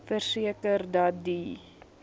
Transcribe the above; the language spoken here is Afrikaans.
verseker dat die